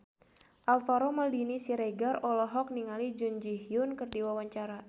Alvaro Maldini Siregar olohok ningali Jun Ji Hyun keur diwawancara